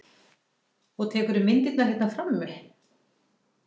Og tekurðu myndirnar hérna frammi?